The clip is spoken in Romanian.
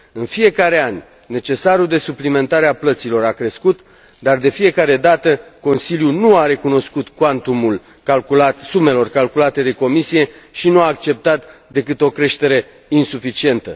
În fiecare an, necesarul de suplimentare a plăților a crescut, dar, de fiecare dată, Consiliul nu a recunoscut cuantumul sumelor calculate de Comisie și nu a acceptat decât o creștere insuficientă.